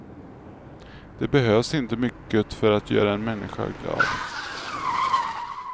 Det behövs inte mycket för göra en människa glad.